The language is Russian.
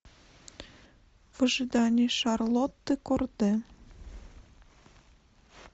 в ожидании шарлотты корде